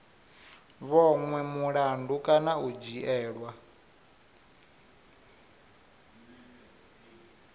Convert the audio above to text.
vhonwe mulandu kana u dzhielwa